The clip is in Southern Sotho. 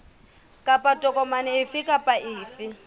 kapa tokomane efe kapa efe